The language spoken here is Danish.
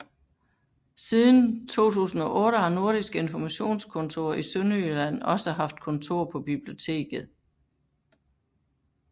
Siden 2008 har Nordisk Informationskontor i Sønderjylland også haft kontor på biblioteket